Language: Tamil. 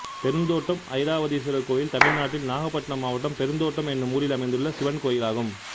பெருந்தோட்டம் ஐராவதீஸ்வரர் கோயில் தமிழ்நாட்டில் நாகபட்டினம் மாவட்டம் பெருந்தோட்டம் என்னும் ஊரில் அமைந்துள்ள சிவன் கோயிலாகும்